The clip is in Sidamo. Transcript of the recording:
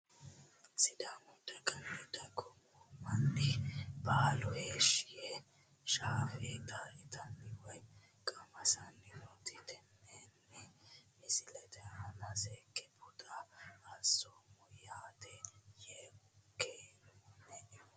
Sidaamu daganna dagoomu mani baalu heeshi yeee shaafeta itani woyi qamasani noota tenne misilete aana seeke buuxo asoomo yaate yee kenemo.